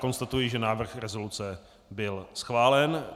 Konstatuji, že návrh rezoluce byl schválen.